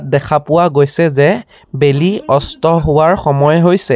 দেখা পোৱা গৈছে যে বেলিৰ অস্ত হোৱাৰ সময় হৈছে।